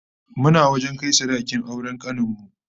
Muna wajen kai sadakin auren kanin mu